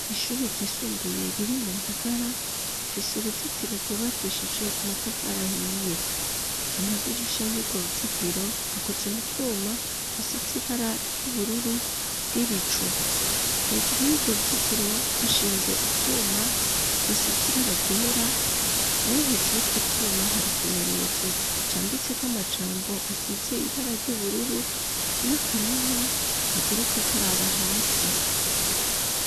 Ishure ryisumbuye, riri mu Ngagara, rifise uruzitiro, rwubakishije amatafari ahiye; amadirisha, y'urwo ruzitiro, akoze mu twuma, tusize ibara, ry'ubururu bw'ibicu; hejuru y'urwo ruzitiro, hashinze utwuma, tusize ibara ryera; nayo hejuru y'utwo twuma, hari ikimenyetso, canditseko amajambo, asize ibara ry'ubururu, n'akanuma, kaguruka karaba hasi.